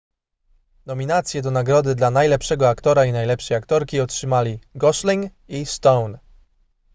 nominacje do nagrody dla najlepszego aktora i najlepszej aktorki otrzymali gosling i stone